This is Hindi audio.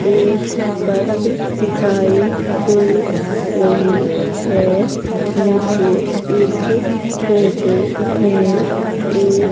एक बस दिखाई दे रही है मुझे इस फोटो में एक --